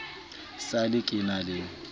sa le ke na le